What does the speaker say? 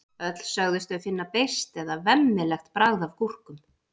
öll sögðust þau finna beiskt eða „vemmilegt“ bragð af gúrkum